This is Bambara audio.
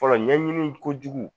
Fɔlɔɲɛɲini kojugu